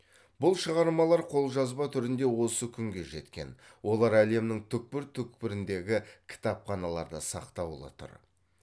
бұл шығармалар қолжазба түрінде осы күнге жеткен олар әлемнің түкпір түкпіріндегі кітапханаларда сақтаулы тұр